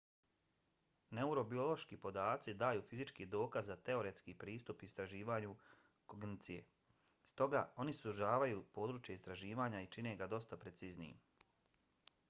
neurobiološki podaci daju fizički dokaz za teoretski pristup istraživanju kognicije. stoga oni sužavaju područje istraživanja i čine ga dosta preciznijim